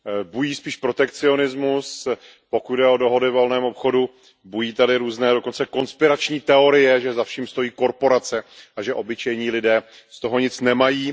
Bují spíše protekcionismus, pokud jde o dohody o volném obchodu, bují zde dokonce konspirační teorie, že za vším stojí korporace a že obyčejní lidé z toho nic nemají.